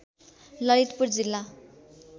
ललितपुर जिल्ला